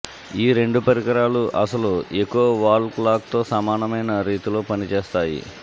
ఈ రెండు పరికరాలు అసలు ఎకో వాల్ క్లాక్తో సమానమైన రీతిలో పనిచేస్తాయి